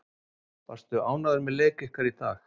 Varstu ánægður með leik ykkar í dag?